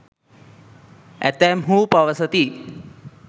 ඇතැම්හු පවසති.